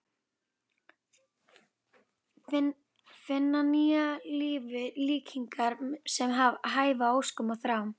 Finna nýju lífi líkingar sem hæfa óskum og þrám.